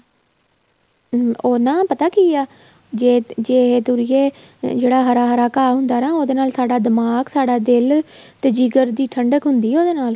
ਉਹ ਨਾ ਪਤਾ ਕੀ ਆ ਜ਼ੇ ਜ਼ੇ ਇਹ ਤੁਰੀਏ ਜਿਹੜਾ ਹਰਾ ਹਰਾ ਘਾਹ ਹੁੰਦਾ ਨਾ ਉਹਦੇ ਨਾਲ ਸਾਡਾ ਦਿਮਾਗ਼ ਸਾਡਾ ਦਿਲ ਤੇ ਜਿਗਰ ਦੀ ਠੰਡਕ ਹੁੰਦੀ ਆ ਉਹਦੇ ਨਾਲ